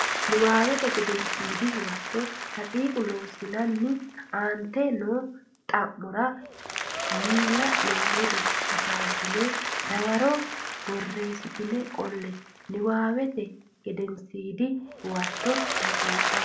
Nabbawate Gedensiidi Huwato daqiiqa Loossinanni Aante noo xa mora miila nenni ledo hasaabinanni dawaro borreessitine qolle Nabbawate Gedensiidi Huwato daqiiqa.